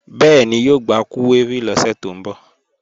Bẹ́ẹ̀ni, yóò gba kúwérì lọ́sẹ̀ tó ń bọ̀